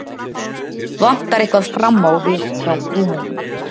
Vantar eitthvað fram á við hjá Rúmeníu.